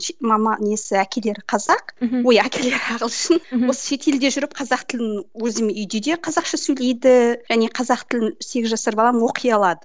мама несі әкелері қазақ мхм ой әкелері ағылшын осы шетелде жүріп қазақ тілін өзім үйде де қазақша сөйлейді және қазақ тілін сегіз жасар балам оқи алады